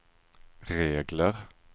regler